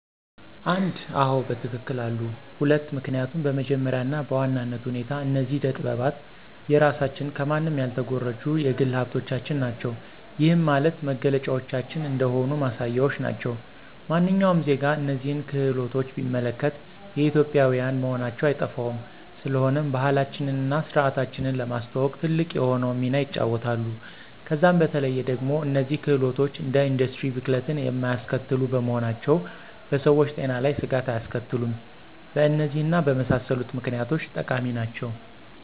1, አዎ በትክክል አሉ፤ 2, ምክኒያቱም በመጀመሪያ እና በዋናነት ሁኔታ እነዚህ አደ ጠጥባት የራሳችን ከማንም ያልተኮረጁ የግል ሀብቶቻችን ናቸው። ይህም ማለት መገለጫዎቻችን እንደሆኑ ማሳያዎች ናቸው። ማንኛውም ዜጋ እነዚህን ክህሎቶች ቢመለከት የኢትዮጵዊያን መሆናቸው አይጠፋውም፤ ስለሆነም ባህላችንን እና ስርዓታችንን ለማስተዋወቅ ትልቅ የሆነውን ሚና ይጫወታሉ። ከዛም በተለዬ ደግሞ እነዚህ ክህሎቶች እንደ ኢንዱስትሪ ብክለትን የማያስከትሉ በመሆናቸው በሰዎች ጤና ላይ ስጋት አያስከትሉም። በእነዚህ እና በመሳሰሉት ምክኒያቶች ጠቃሚ ናቸው።